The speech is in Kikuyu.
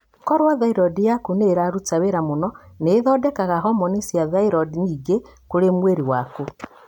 Koro thyroid yaku nĩ ĩraruta wira mũno, nĩ ĩthondekaga hormoni cis thyroid nyingĩ kũrĩ mwĩrĩ waku.